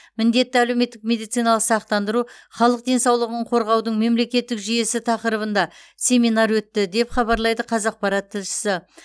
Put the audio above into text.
міндетті әлеуметтік медициналық сақтандыру халық денсаулығын қорғаудың мемлекеттік жүйесі тақырыбында семинар өтті деп хабарлайды қазақпарат тілшісі